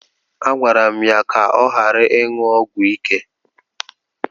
Agwara m ya ka ọ ghara ịṅụ ọgwụ ike.